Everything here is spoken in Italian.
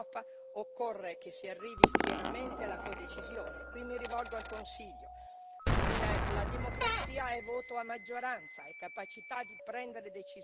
Qui mi rivolgo al Consiglio la democrazia è voto a maggioranza, è capacità di prendere decisioni e di andare avanti, non di farsi bloccare dal voto all'unanimità.